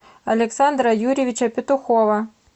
александра юрьевича петухова